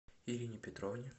ирине петровне